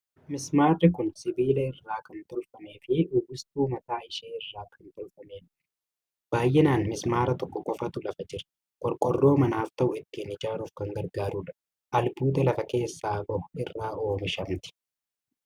Mismaarri kun sibiila irraa kan tolfamee fi uwwistuu mataa ishee irraa kan tolfamtedha. Baay'inaan mismaara tokko qofaatu lafa jira. Qorqoorroo manaaf ta'u ittiin ijaaruuf kan gargaarudha. Albuuda lafa keessaa bahu irraa oomishamti.